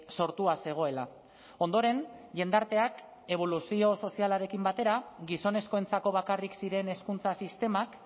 sortua zegoela ondoren jendarteak eboluzio sozialarekin batera gizonezkoentzako bakarrik ziren hezkuntza sistemak